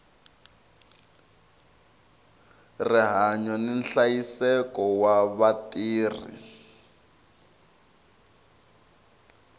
rihanyu ni nhlayiseko wa vatirhi